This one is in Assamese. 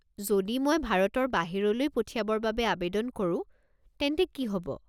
যদি মই ভাৰতৰ বাহিৰলৈ পঠিয়াবৰ বাবে আৱেদন কৰো, তেন্তে কি হ'ব?